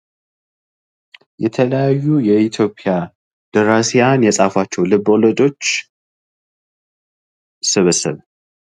የተለያዩ የኢትዮጵያ ደራሲያን የፃፉቸው ልብ ወለዶች ስብስብ